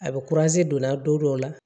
A bɛ donna don dɔ la